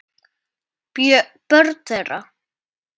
Börn þeirra.